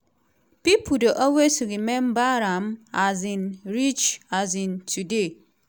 pipo dey always remember am um reach um today.”